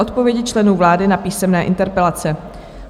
Odpovědi členů vlády na písemné interpelace